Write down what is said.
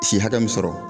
Si hakɛ min sɔrɔ